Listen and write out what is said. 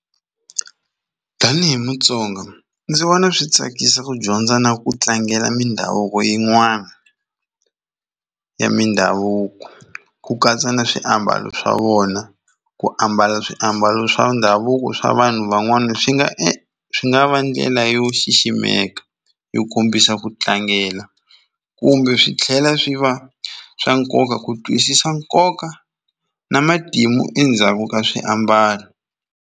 Tanihi Mutsonga ndzi vona swi tsakisa ku dyondza na ku tlangela mindhavuko yin'wana ya mindhavuko ku katsa na swiambalo swa vona ku ambala swiambalo swa ndhavuko swa vanhu van'wana swi nga e swi nga va ndlela yo xiximeka yo kombisa ku tlangela kumbe swi tlhela swi va swa nkoka ku twisisa nkoka na matimu endzhaku ka swiambalo.